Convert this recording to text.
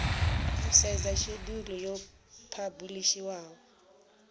u sedza shedulu yo phabulishiwaho